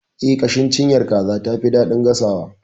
Eh, ƙashin cinyar kaza tafi daɗin gasawa.